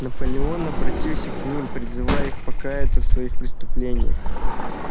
наполеон обратился к ним призывая их покаяться в своих преступлениях